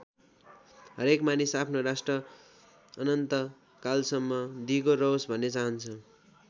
हरेक मानिस आफ्नो राष्ट्र अनन्त कालसम्म दिगो रहोस् भन्ने चाहन्छ।